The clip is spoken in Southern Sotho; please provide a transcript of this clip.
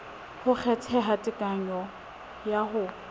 ho kgetheha tekanyo ya ho